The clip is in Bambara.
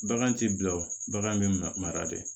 Bagan t'i bila o bagan bɛ mara de